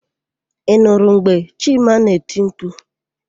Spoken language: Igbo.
Ị nụrụ mgbe Chima na-eti mkpu?